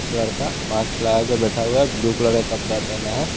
लड़का मास्क लगा के बैठा हुआ है ब्लू कलर का कपड़ा पहना है।